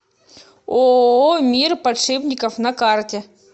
ооо мир подшипников на карте